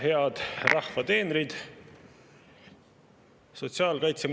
Head rahva teenrid!